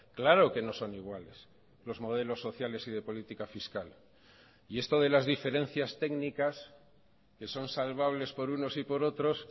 claro que no son iguales los modelos sociales y de política fiscal y esto de las diferencias técnicas que son salvables por unos y por otros